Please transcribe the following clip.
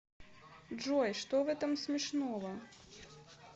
джой что в этом смешного